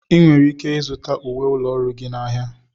Ị nwere ike ịzụta uwe ụlọ ọrụ gị n'ahịa.